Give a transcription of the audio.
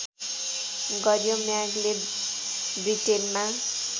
गर्‍यो म्यागले ब्रिटेनमा